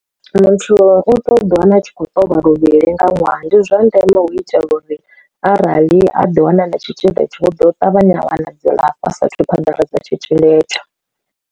Muthu u to ḓi wana a tshi khou ṱolwa luvhili nga ṅwaha, ndi zwa ndeme hu itela uri arali a ḓi wana na tshitzhili itsho hu ḓo ṱavhanya u wana dzilafho a sa athu u phaḓaladza tshitzhili etsho.